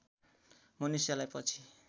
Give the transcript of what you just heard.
मनुष्यलाई पछि